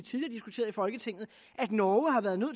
folketinget at norge har været nødt